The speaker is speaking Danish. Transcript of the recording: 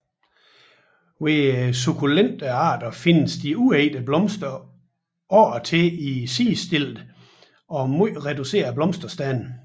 Hos de sukkulente arter findes de uægte blomster oftest i sidestillede og meget reducerede blomsterstande